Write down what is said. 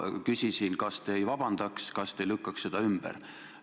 Ma küsisin, kas te ei vabandaks, kas te ei lükkaks seda süüdistust ümber.